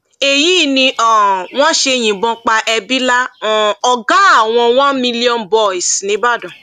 èyí ni bí um wọn ṣe yìnbọn pa ẹbílà um ọgá àwọn one million boys níìbàdàn